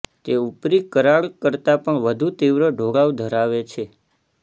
તે ઉપરી કરાડ કરતાં પણ વધુ તીવ્ર ઢોળાવ ધરાવે છે